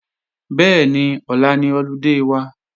Bẹ́ẹ̀ni, ọ̀la ni ọludé wa